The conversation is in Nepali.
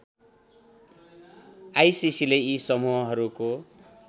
आइसिसीले यी समूहहरूको